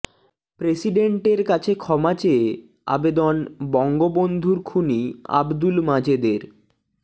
প্রেসিডেন্টের কাছে ক্ষমা চেয়ে আবেদন বঙ্গবন্ধুর খুনি আবদুল মাজেদের